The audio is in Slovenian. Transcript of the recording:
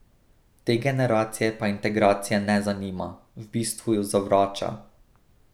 Te generacije pa integracija ne zanima, v bistvu jo zavrača.